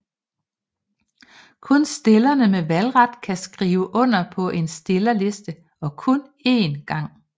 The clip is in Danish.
Kun stillerne med valgret kan skrive under på en stillerliste og kun én gang